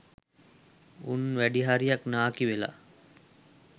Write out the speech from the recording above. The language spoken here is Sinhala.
උන් වැඩිහරියක් නාකි වෙලා